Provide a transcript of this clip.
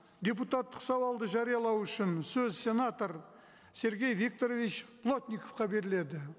депутаттық сауалды жариялау үшін сөз сенатор сергей викторович плотниковқа беріледі